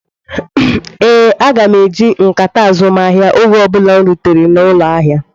Ee, m ga-eji nkata azumahia oge ọ bụla m rutere n'ụlọ ahịa.